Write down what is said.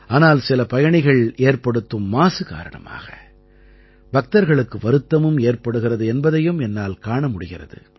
ஆனால் சில பயணிகள் ஏற்படுத்தும் மாசு காரணமாக பக்தர்களுக்கு வருத்தமும் ஏற்படுகிறது என்பதையும் என்னால் காண முடிகிறது